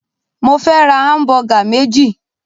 Mó fẹ́ ra hamubugq méjì.